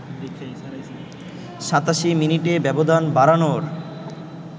৮৭ মিনিটে ব্যবধান বাড়ানোর